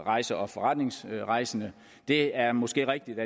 rejser og forretningsrejser men det er måske rigtigt